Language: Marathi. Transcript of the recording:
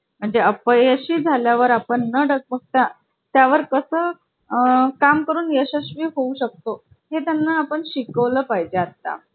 आपापसातील सस्पर्धेमुळे नवनवीन तंत्रज्ञान आपल्याला पाहायला मिळत होते. म्हणजे यांचीसुद्धा एकमेकांमध्ये खूप स्पर्धा लागत होती.